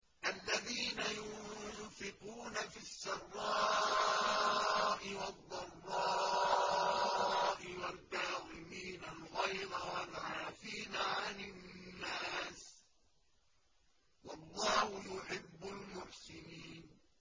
الَّذِينَ يُنفِقُونَ فِي السَّرَّاءِ وَالضَّرَّاءِ وَالْكَاظِمِينَ الْغَيْظَ وَالْعَافِينَ عَنِ النَّاسِ ۗ وَاللَّهُ يُحِبُّ الْمُحْسِنِينَ